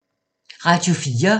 Radio 4